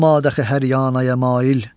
olma daxi həryana ya mail.